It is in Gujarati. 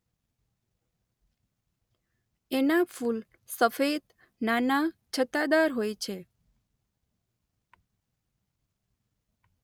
એનાં ફૂલ સફેદ નાનાં છત્તાદાર હોય છે.